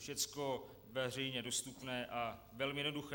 Všecko veřejně dostupné a velmi jednoduché.